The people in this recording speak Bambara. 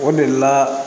O de la